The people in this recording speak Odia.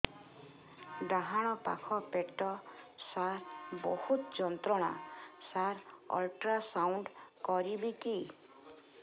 ଡାହାଣ ପାଖ ପେଟ ସାର ବହୁତ ଯନ୍ତ୍ରଣା ସାର ଅଲଟ୍ରାସାଉଣ୍ଡ କରିବି କି